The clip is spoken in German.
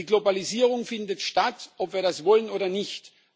Die Globalisierung findet statt, ob wir das wollen oder nicht.